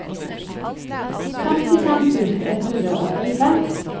femtifem tusen ett hundre og elleve